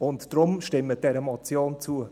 Deshalb: Stimmen Sie dieser Motion zu.